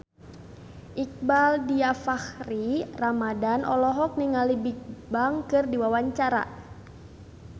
Iqbaal Dhiafakhri Ramadhan olohok ningali Bigbang keur diwawancara